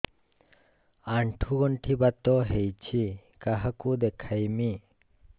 ଆଣ୍ଠୁ ଗଣ୍ଠି ବାତ ହେଇଚି କାହାକୁ ଦେଖାମି